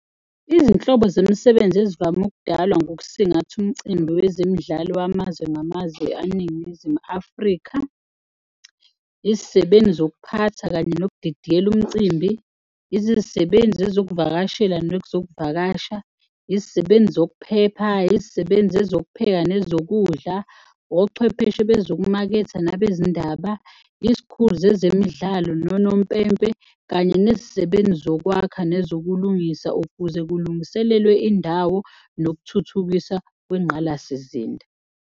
Izinhlobo zemisebenzi ezivame ukudalwa ngokusingatha umicimbi wezemidlalo wamazwe ngamazwe aNingizimu Afrika, izisebenzi zokuphatha kanye nokudidiyela umcimbi, izisebenzi ezokuvakashela nekuzokuvakasha, izisebenzi zokuphepha, izisebenzi ezokupheka nezokudla, ochwepheshe bezokumaketha nabezindaba, izikhulu zezemidlalo nonompempe kanye nezisebenzi zokwakha nezokulungisa ukuze kulungiselelwe indawo nokuthuthukisa kwengqalasizinda.